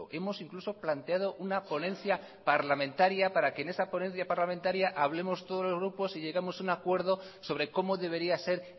hemos incluso planteado unaponencia parlamentaria para que en esa ponencia parlamentaria hablemos todos los grupos y lleguemos a un acuerdo sobre cómo debería ser